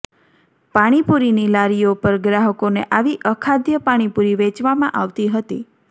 પાણીપૂરીની લારીઓ પર ગ્રાહકોને આવી અખાદ્ય પાણીપૂરી વેચવામાં આવતી હતી